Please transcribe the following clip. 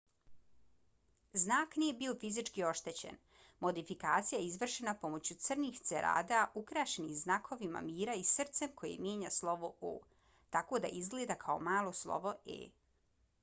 znak nije bio fizički oštećen. modifikacija je izvršena pomoću crnih cerada ukrašenih znakovima mira i srcem koje mijenja slovo o tako da izgleda kao malo slovo e